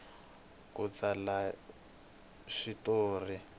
ku tsala swi tori